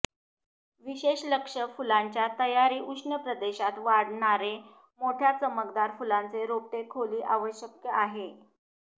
विशेष लक्ष फुलांच्या तयारी उष्ण प्रदेशात वाढणारे मोठ्या चमकदार फुलांचे रोपटे खोली आवश्यक आहे